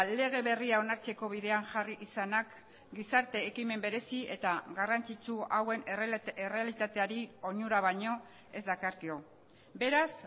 lege berria onartzeko bidean jarri izanak gizarte ekimen berezi eta garrantzitsu hauen errealitateari onura baino ez dakarkio beraz